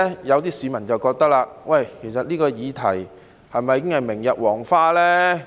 有些市民卻認為，這議題是否已經明日黃花呢？